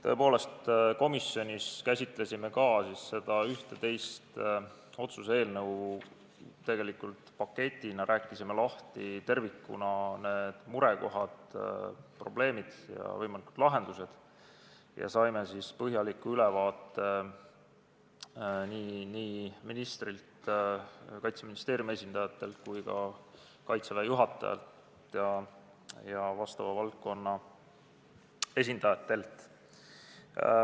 Tõepoolest, komisjonis käsitlesime ka neid 11 otsuse eelnõu ühtse paketina, rääkisime tervikuna lahti murekohad, probleemid ja võimalikud lahendused ning saime põhjaliku ülevaate ministrilt, Kaitseministeeriumi esindajatelt, Kaitseväe juhatajalt ja vastava valdkonna esindajatelt.